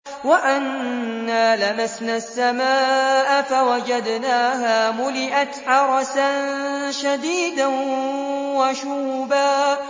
وَأَنَّا لَمَسْنَا السَّمَاءَ فَوَجَدْنَاهَا مُلِئَتْ حَرَسًا شَدِيدًا وَشُهُبًا